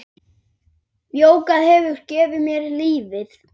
Jógað hefur gefið mér lífið.